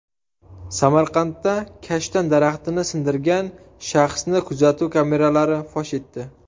Samarqandda kashtan daraxtini sindirgan shaxsni kuzatuv kameralari fosh etdi.